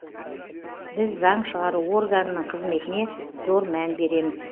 біз заң шығару органының қызметіне зор мән береміз